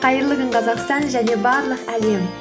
қайырлы күн қазақстан және барлық әлем